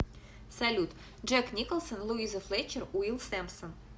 салют джек николсон луиза флетчер уилл сэмпсон